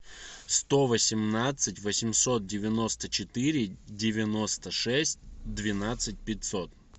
сто восемнадцать восемьсот девяносто четыре девяносто шесть двенадцать пятьсот